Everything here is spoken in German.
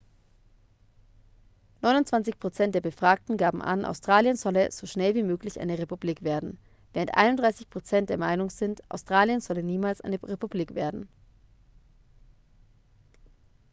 29 prozent der befragten gaben an australien solle so schnell wie möglich eine republik werden während 31 prozent der meinung sind australien solle niemals eine republik werden